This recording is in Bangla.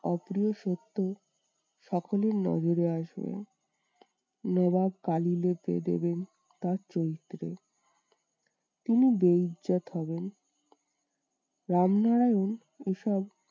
অপ্রিয় সত্য সকলের নজরে আসবে। নবাব কালী লেপে দেবেন তার চরিত্রে। তিনি হবেন। রামনারায়ণ ওসব